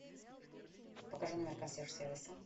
покажи номер консьерж сервиса